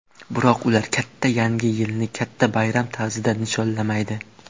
Biroq ular katta yangi yilni katta bayram tarzida nishonlamaydi.